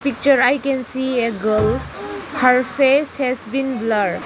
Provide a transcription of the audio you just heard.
Picture I can see a girl her face has been blurred.